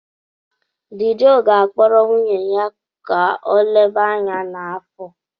Dee Joe ga-akpọrọ nwunye ya ka ọ leba anya n'afọ.